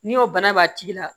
N'i y'o bana b'a tigi la